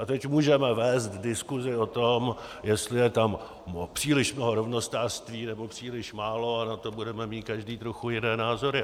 A teď můžeme vést diskusi o tom, jestli je tam příliš mnoho rovnostářství, nebo příliš málo, a na to budeme mít každý trochu jiné názory.